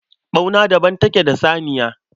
Ɓauna daban take da saniya